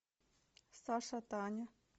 саша таня